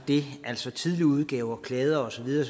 det altså at tidligere udgaver kladder og så videre